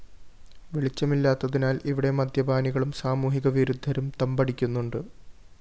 വെളിച്ചമില്ലാത്തതിനാല്‍ ഇവിടെ മദ്യപാനികളും സാമൂഹിക വിരുദ്ധരും തമ്പടിക്കുന്നുണ്ട്